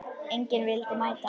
Enginn vildi mæta.